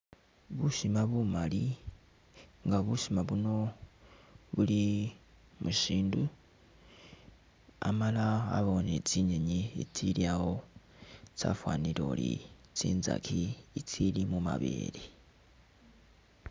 Busima bumali nga busima buno buli mushindu amala abawo ni tsinyenyi tsili awo tsafanile oli tsintsaki itsili mumabele .